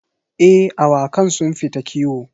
Eh, awakan sun fita kiwo.